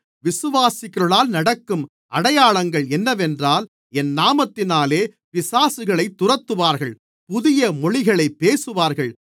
விசுவாசிக்கிறவர்களால் நடக்கும் அடையாளங்கள் என்னவென்றால் என் நாமத்தினாலே பிசாசுகளைத் துரத்துவார்கள் புதிய மொழிகளைப் பேசுவார்கள்